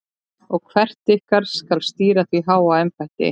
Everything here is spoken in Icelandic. Og hver ykkar skal stýra því háa embætti?